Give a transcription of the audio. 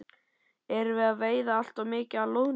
Erum við að veiða allt of mikið af loðnu?